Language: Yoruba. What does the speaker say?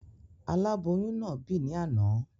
Aláboyún náà bì ní àná